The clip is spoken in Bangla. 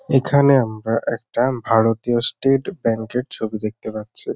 এখানে আমরা একটা ভারতীয় ষ্টেট ব্যাংক -এর ছবি দেখতে পাচ্ছি।